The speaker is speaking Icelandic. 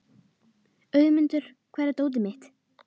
Auðmundur, hvar er dótið mitt?